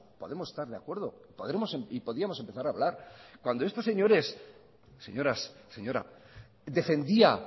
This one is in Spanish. podemos estar de acuerdo y podíamos empezar a hablar cuando estos señores señoras señora defendía